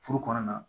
Furu kɔnɔna na